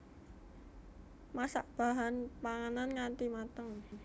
Masak bahan panganan ngati mateng